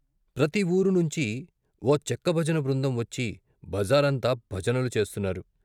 ప్రతివూరు నుంచి ఓచెక్క భజన బృందం వచ్చి బజారంతా భజనలు చేస్తున్నారు.